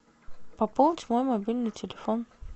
пополнить мой мобильный телефон